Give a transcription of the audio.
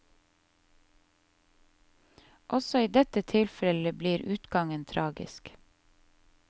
Også i dette tilfellet blir utgangen tragisk.